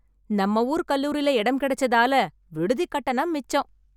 நம்ம ஊர் கல்லூரில இடம் கிடைச்சதால விடுதி கட்டணம் மிச்சம்.